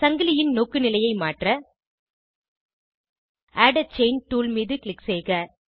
சங்கிலியின் நோக்குநிலையை மாற்ற add a chain tool மீது க்ளிக் செய்க